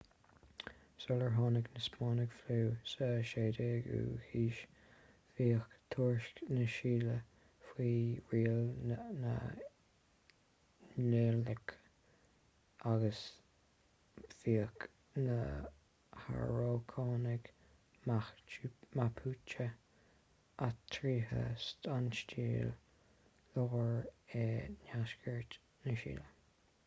sular tháinig na spáinnigh sa 16ú haois bhíodh tuaisceart na sile faoi riail na nincach agus bhíodh na harócánaigh mapuche áitrithe sa tsile láir agus i ndeisceart na sile